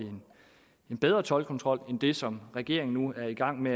jeg bedre toldkontrol end det som regeringen nu er i gang med